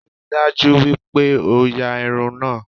Ríi dájú pé o ya irun náà!